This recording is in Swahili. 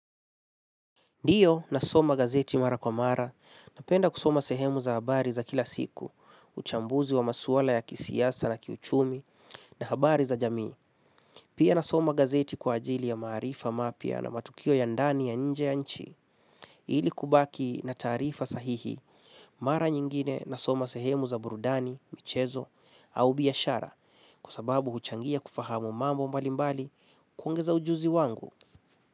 Ndio nasoma gazeti mara kwa mara, napenda kusoma sehemu za habari za kila siku, uchambuzi wa maswala ya kisiasa na kiuchumi na habari za jamii. Pia nasoma gazeti kwa ajili ya maarifa mapya na matukio ya ndani ya nje ya nchi. Ili kubaki na taarifa sahihi, mara nyingine nasoma sehemu za burudani, michezo, au biashara, kwa sababu huchangia kufahamu mambo mbalimbali, kuongeza ujuzi wangu.